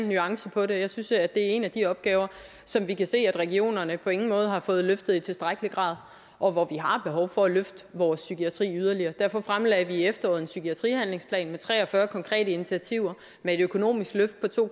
nuancer jeg synes det er en af de opgaver som vi kan se at regionerne på ingen måde har fået løftet i tilstrækkelig grad og vi har behov for at løfte vores psykiatri yderligere derfor fremlagde vi i efteråret en psykiatrihandlingsplan med tre og fyrre konkrete initiativer og med et økonomisk løft på to